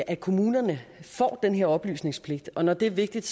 at kommunerne får den her oplysningspligt og når det er vigtigt